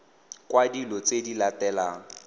kwa dilo tse di latelang